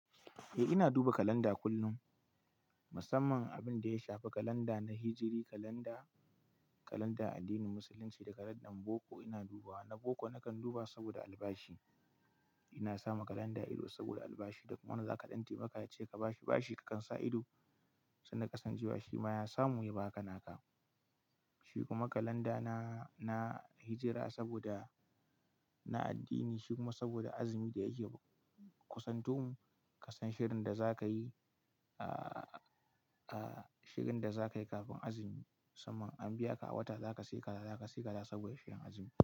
Eh ina duba kalanda kullum, musamman abin da ya shafi kalanda na hijri, kalanda, kalanda addinin musulunci da kalandar boko ina dubawa. Na boko nakan duba saboda albashi. Ina sama kalanda ido saboda albashi da kuma wanda za ka ɗan taimaka yace ka bashi bashi ka kan sa ido, sannan ka san ceka shi ma ya samu ya ba ka naka. Shi kuma kalanda na, na hijra saboda na addini shi kuma saboda azumi da yake kusantomun ka san shirin da za ka yi, aa, aa shirin da za ka yi kafin azumi. Saman an biya ka a wata za ka sayi kaya, za ka yi kaza saboda shirin azumi.